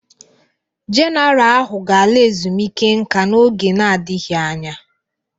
Jenaral ahụ ga-ala ezumike nka n'oge n'adịghị anya.